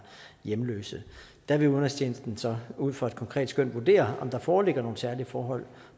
hjemløs der vil udenrigstjenesten så ud fra et konkret skøn vurdere om der foreligger nogle særlige forhold